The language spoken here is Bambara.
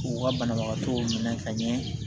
U ka banabagatɔw minɛ ka ɲɛ